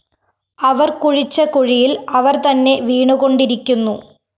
അവര്‍ കുഴിച്ച കുഴിയില്‍ അവര്‍തന്നെ വീണുകൊണ്ടിരിക്കുന്നു